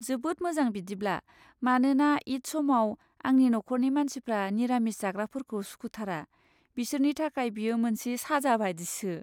जोबोद मोजां बिदिब्ला, मानोना ईद समाव आंनि नख'रनि मानसिफ्रा निरामिस जाग्राफोरखौ सुखुथारा, बिसोरनि थाखाय बेयो मोनसे साजा बादिसो।